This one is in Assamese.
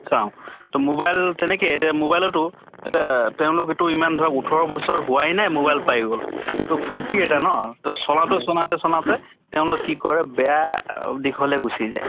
চাওঁ। তʼ mobile তেনেকে এতিয়া mobile এটা আহ তেওঁলোক ইটো ইমান ধৰা ওঠৰ বছৰ হোৱাই নাই, mobile পাই গʼল। তʼ ফুৰ্তি এটা ন? তʼ চলাওতে চলাওতে চলাওতে তেওঁলোক কি কৰে বেয়া আহ দিশলৈ গুচি যায়।